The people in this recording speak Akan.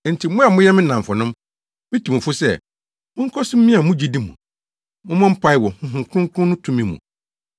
Enti, mo a moyɛ me nnamfonom, mitu mo fo sɛ, monkɔ so mmia mo gyidi mu. Mommɔ mpae wɔ Honhom Kronkron no tumi mu,